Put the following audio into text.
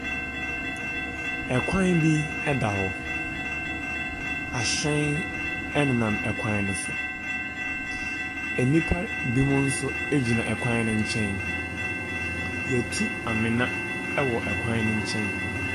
Ɛkwan bi ɛda hɔ, ahyɛn ɛnenam ɛkwan ne so, enipa bimo nso egyina ɛkwan ne nkyɛn, yatu amena ɛwɔ ɛkwan ne nkyɛn.